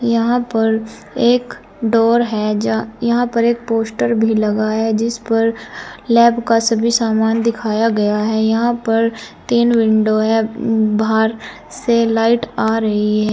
यहां पर एक डोर है। जा यहां पर एक पोस्टर भी लगाया जिस पर लैब का सभी सामान दिखाया गया है। यहां पर तीन विंडो है। बाहर से लाइट आ रही है।